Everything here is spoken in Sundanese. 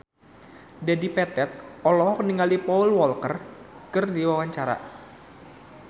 Dedi Petet olohok ningali Paul Walker keur diwawancara